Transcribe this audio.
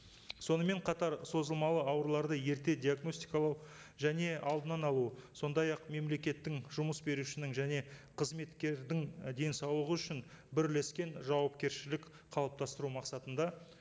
сонымен қатар созылмалы ауруларды ерте диагностикалау және алдынан алу сондай ақ мемлекеттің жұмыс берушінің және қызметкердің денсаулығы үшін бірлескен жауапкершілік қалыптастыру мақсатында